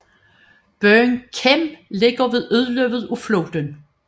Byen Kem ligger ved udløbet af floden